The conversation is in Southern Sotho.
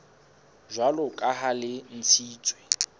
jwalo ka ha le ntshitswe